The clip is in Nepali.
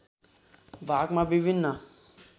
भागमा विभिन्न